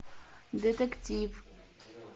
детектив